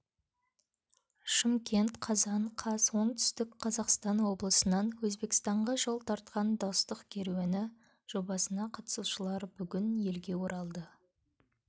шымкент қазан қаз оңтүстік қазақстан облысынан өзбекстанға жол тартқан достық керуені жобасына қатысушылар бүгін елге оралды